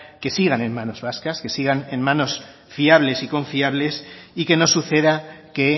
que sigan en manos vascas que sigan en manos fiables y confiables y que no suceda que